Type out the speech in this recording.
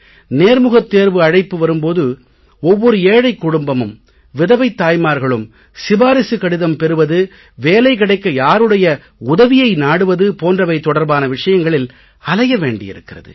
நேர்முகத் தேர்வு அழைப்பு வரும் போது ஒவ்வொரு ஏழைக் குடும்பமும் விதவைத் தாய்மார்களும் சிபாரிசு கடிதம் பெறுவது வேலை கிடைக்க யாருடைய உதவியை நாடுவது போன்றவை தொடர்பான விஷயங்களில் அலைய வேண்டியிருக்கிறது